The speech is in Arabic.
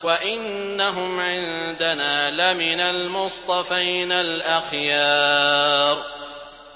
وَإِنَّهُمْ عِندَنَا لَمِنَ الْمُصْطَفَيْنَ الْأَخْيَارِ